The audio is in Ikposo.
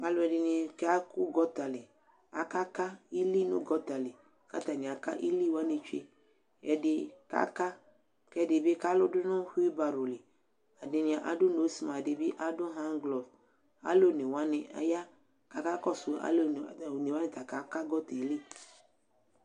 alo ɛdini ka ko gɔta li aka ka ili no gɔta li ko atani aka ili wani tsue ɛdi ka ka ko ɛdi bi ka lo do no wheel barrow li ɛdini ado nose mask ɛdi bi ado hand glɔv alo one wani aya ko aka kɔso alo one wani ta aka ka gɔta yɛ li